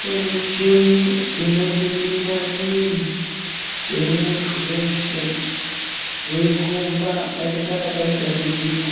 Kune michini inoningira mwiri wemuntu weshe weyikomba panongana pane dambudziko .